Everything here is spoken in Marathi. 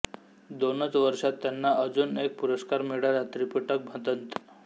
दोनच वर्षात त्यांना अजून एक पुरस्कार मिळाला त्रिपिटकभदंत